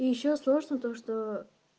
и ещё сложно то что